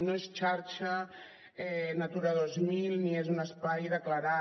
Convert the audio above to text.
no és xarxa natura dos mil ni és un espai declarat